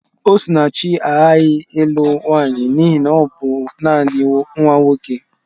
Osinachi aghaghị ịlụ nwanyị n'ihi na ọ bụ nanị nwa nwoke.